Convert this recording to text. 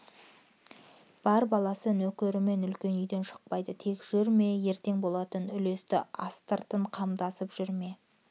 бар баласы нөкерімен үлкен үйден шықпайды тек жүр ме ертең болатын үлесті астыртын қамдасып жүр ме